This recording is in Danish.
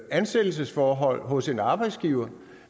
ansættelsesforhold hos en arbejdsgiver